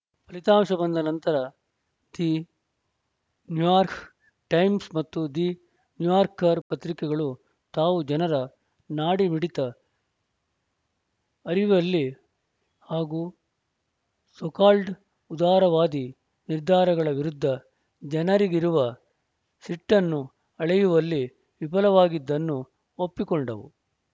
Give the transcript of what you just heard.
ಫಲಿತಾಂಶ ಬಂದ ನಂತರ ದಿ ನ್ಯೂಯಾರ್ಕ್ ಟೈಮ್ಸ್‌ ಮತ್ತು ದಿ ನ್ಯೂಯಾರ್ಕರ್‌ ಪತ್ರಿಕೆಗಳು ತಾವು ಜನರ ನಾಡಿಮಿಡಿತ ಅರಿಯುವಲ್ಲಿ ಹಾಗೂ ಸೋಕಾಲ್ಡ್‌ ಉದಾರವಾದಿ ನಿರ್ಧಾರಗಳ ವಿರುದ್ಧ ಜನರಿಗಿರುವ ಸಿಟ್ಟನ್ನು ಅಳೆಯುವಲ್ಲಿ ವಿಫಲವಾಗಿದ್ದನ್ನು ಒಪ್ಪಿಕೊಂಡವು